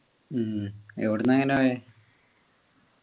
ഉം ഇവിടുന്നു എങ്ങനെ പോയെ